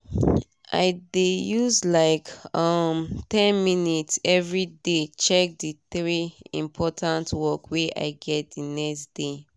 i dey use like um ten minutes everyday dey check d three important work wey i get d next day